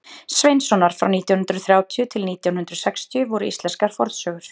sveinssonar frá nítján hundrað þrjátíu til nítján hundrað sextíu voru íslenskar fornsögur